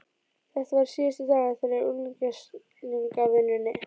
Þetta var síðasti dagurinn þeirra í unglingavinnunni.